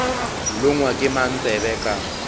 longwa ke mang tsebe ka